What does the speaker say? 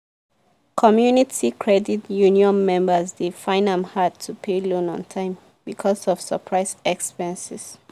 community credit union members dey find am hard to pay loan on time because of surprise expenses.